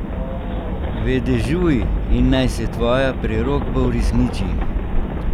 Vedežuj in naj se tvoja prerokba uresniči!